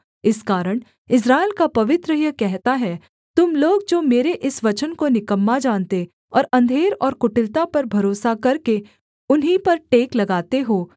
इस कारण इस्राएल का पवित्र यह कहता है तुम लोग जो मेरे इस वचन को निकम्मा जानते और अंधेर और कुटिलता पर भरोसा करके उन्हीं पर टेक लगाते हो